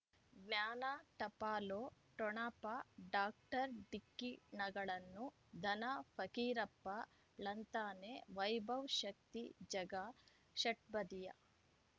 ಜ್ಞಾನ ಟಪಾಲು ಠೊಣಪ ಡಾಕ್ಟರ್ ಢಿಕ್ಕಿ ಣಗಳನು ಧನ ಫಕೀರಪ್ಪ ಳಂತಾನೆ ವೈಭವ್ ಶಕ್ತಿ ಝಗಾ ಷಟ್ಪದಿಯ